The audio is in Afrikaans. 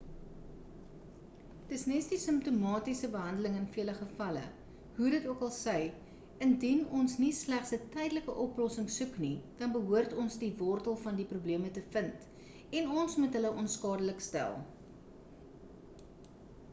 dis nes die simptomatiese behandeling in vele gevalle hoe dit okal sy indien ons nie slegs 'n tydelike oplossing soek nie dan behoort ons die wortel van die probleme te vind en ons moet hulle onskadelik stel